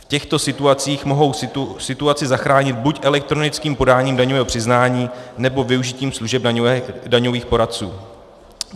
V těchto situacích mohou situaci zachránit buď elektronickým podáním daňového přiznání, nebo využitím služeb daňových poradců.